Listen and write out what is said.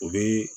O bɛ